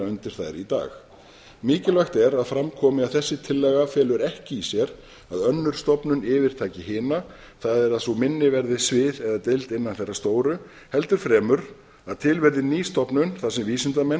undir þær í dag mikilvægt er að fram komi að þessi tillaga felur ekki í sér að önnur stofnun yfirtaki hina það er að sú minni verði svið eða deild innan þeirrar stóru heldur fremur að til verði ný stofnun þar sem vísindamenn